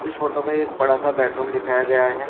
Photo में एक बड़ा सा बेडरूम दिखाया गया है।